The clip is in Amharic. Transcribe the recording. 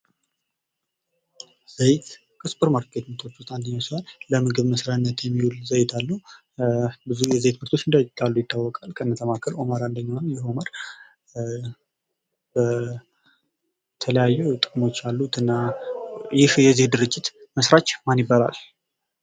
ዘይት ከሱፐር ማርኬት ምርቶች ውስጥ አንደኛው ሲሆን ለምግብ መስሪያነት የሚውል ዘይት አለ። ብዙ አይነት ዘይቶች እንዳሉ ይታወቃል፤ ከነዛም መካከል ኦማር አንደኛው ነው። ይህ ኦማር የተለያዩ ጥቅሞች አሉት እና ይህ የዘይት ድርጅት መስራች ማን ይባላል?